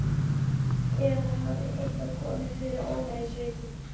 Eða hafði eitthvað komið fyrir Óla í sveitinni?